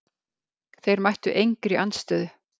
Þeir mættu engri andstöðu.